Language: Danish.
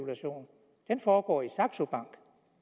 en femtedel foregår i saxo